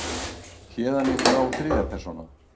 Héðan í frá þriðja persóna.